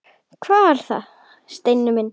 Hvað er það, Steini minn?